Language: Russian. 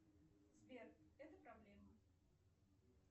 сбер это проблема